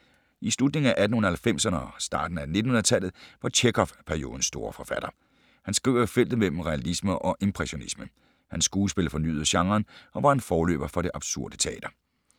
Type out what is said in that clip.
I slutningen af 1890’erne og starten af 1900-tallet var Tjekhov periodens store forfatter. Han skriver i feltet mellem realisme og impressionisme. Hans skuespil fornyede genren og var en forløber for det absurde teater.